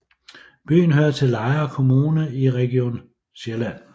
Byen hører til Lejre Kommune i Region Sjælland